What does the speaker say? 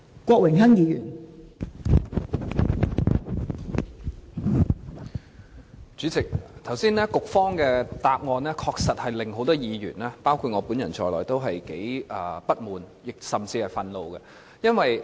代理主席，局長剛才的答案確實令很多議員，包括我本人在內都感到不滿，甚至憤怒。